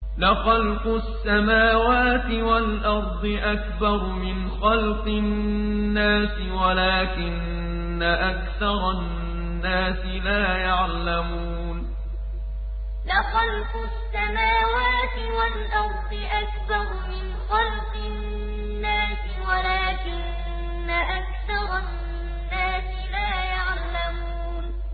لَخَلْقُ السَّمَاوَاتِ وَالْأَرْضِ أَكْبَرُ مِنْ خَلْقِ النَّاسِ وَلَٰكِنَّ أَكْثَرَ النَّاسِ لَا يَعْلَمُونَ لَخَلْقُ السَّمَاوَاتِ وَالْأَرْضِ أَكْبَرُ مِنْ خَلْقِ النَّاسِ وَلَٰكِنَّ أَكْثَرَ النَّاسِ لَا يَعْلَمُونَ